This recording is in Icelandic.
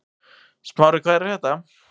Smári, hvað er að frétta?